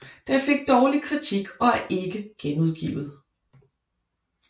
Det fik dårlig kritik og er ikke genudgivet